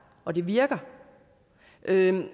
og det virker